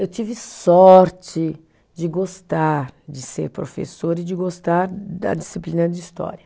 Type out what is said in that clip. Eu tive sorte de gostar de ser professora e de gostar da disciplina de história.